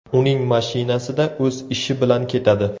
Uning mashinasida o‘z ishi bilan ketadi.